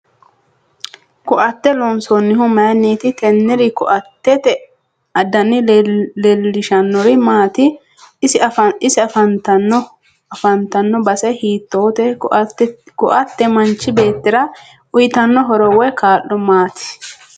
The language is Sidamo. Ko'atte loonsanihu mayiiniiti teennr ko'attete dani leelishanori maati ise afantanno base hiitoote ko'atte manchi beetira uyiitanno horo woy kaa'lo maati